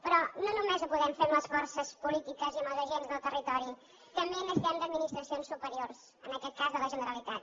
però no només ho podem fer amb les forces polítiques i amb els agents del territori també necessitem d’administracions superiors en aquest cas de la generalitat